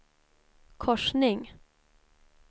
korsning